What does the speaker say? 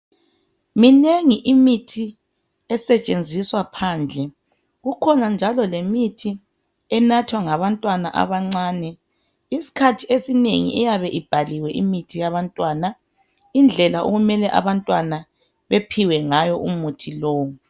Minengi imithi esetshenziswa phandle. Kukhona njalo lemithi enathwa ngabantwana abancane. Isikhathi esinengi iyabe ibhaliwe imithi yabantwana indlela okumele abantwana bephiwe ngayo umuthi lowo.